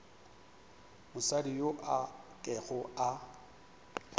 mosadi yo a kego a